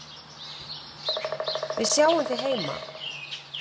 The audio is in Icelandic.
Við sjáum þig heima.